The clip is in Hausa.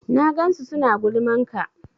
Na gansu suna gulman ka